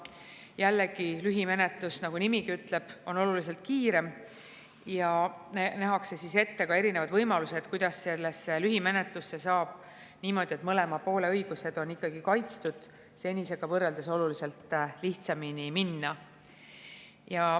Jällegi, lühimenetlus, nagu nimigi ütleb, on oluliselt kiirem ja nähakse ette ka erinevaid võimalusi, kuidas lühimenetlusse saab niimoodi, et mõlema poole õigused on kaitstud, senisega võrreldes oluliselt lihtsamini minna.